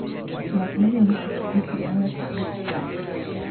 Ng'at ma riembo pikipiki en ng'at mohero tiyo ne ji.